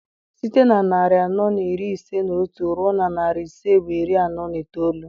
Site na narị anọ na iri ise na otu ruo na narị ise bụ iri anọ na itoolu.